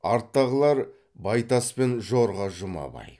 арттағылар байтас пен жорға жұмабай